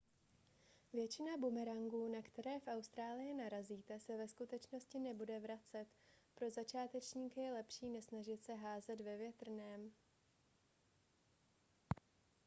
většina bumerangů na které v austrálii narazíte se ve skutečnosti nebude vracet pro začátečníky je lepší nesnažit se házet ve větrném